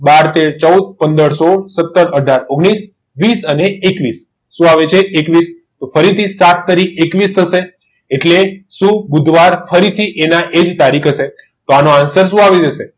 બાર તેર ચૌદ પંદર સોળ સતર અઢાર ઓગણીસ વીસ અને એકવીસ તો શું આવે છે એકવીસ તો ફરીથી સાત તારીખ એકવીસ એકવીસ થશે એટલે તો શું બુધવાર ફરીથી એના એ જ તારીખ હશે તો આનો answer શું આવશે